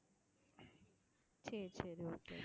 சரி சரி okay